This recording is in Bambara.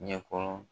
Ɲɛkɔrɔ